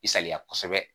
I saliya kosɛbɛ